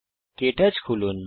কে torch খুলুন